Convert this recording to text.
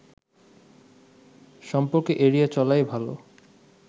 সম্পর্ক এড়িয়ে চলাই ভালো